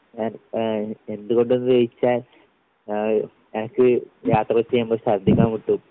ഏഹ് ഏഹ് എന്തുകൊണ്ടെന്ന് ചോയ്ച്ചാൽ ആഹ് എനിക്ക് യാത്ര ചെയ്യുമ്പോൾ ശർദ്ദിക്കാൻ മുട്ടും.